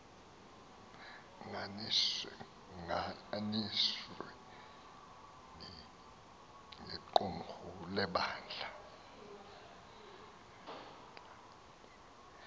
nganisweni yequmrhu lebandla